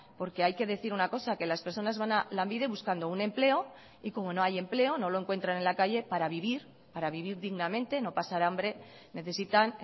porque hay que decir una cosa que las personas van a lanbide buscando un empleo y como no hay empleo no lo encuentran en la calle para vivir para vivir dignamente no pasar hambre necesitan